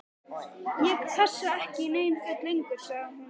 Ég passa ekki í nein föt lengur sagði hún.